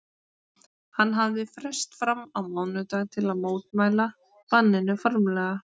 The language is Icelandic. Hann hafði frest fram á mánudag til að mótmæla banninu formlega.